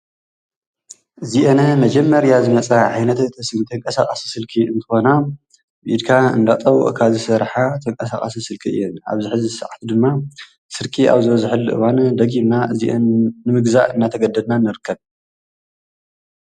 እዚአን መጀመርያ ዝመፃ ዓይነት ተንቀሳቓሲ ስልኪ እንትኾና ብኢድካ እንዳጠወቕካ ዝሰርሓ ተንቀሳቓሲ ስልኪ እየን። ኣብዚ ሕዚ ሳዓት ድማ ስርቂ ኣብ ዝበዝሕሉ እዋን ደጊምና እዚአን ንምግዛእ እናተገደድና ንርከብ።